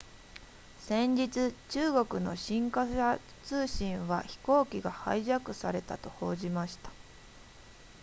先日中国の新華社通信は飛行機がハイジャックされたと報じました